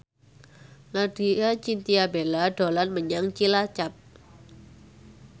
Laudya Chintya Bella dolan menyang Cilacap